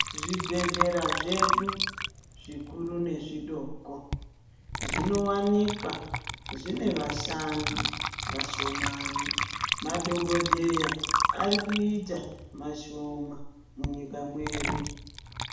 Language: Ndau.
Zvibhedhlera zvedu zvikuru nezvidoko zvinowanikwa zvine vashandi vashomani. Madhokodheya arikuita mashoma munyika mwedu.